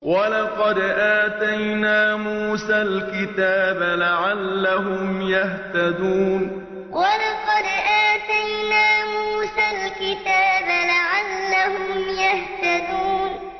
وَلَقَدْ آتَيْنَا مُوسَى الْكِتَابَ لَعَلَّهُمْ يَهْتَدُونَ وَلَقَدْ آتَيْنَا مُوسَى الْكِتَابَ لَعَلَّهُمْ يَهْتَدُونَ